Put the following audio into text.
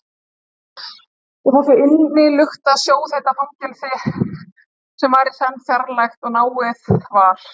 Í þessu innilukta, sjóðheita fangelsi, sem var í senn fjarlægt og náið, var